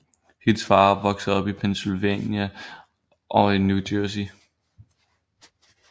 Hendes far voksede op i Pennsylvania og New Jersey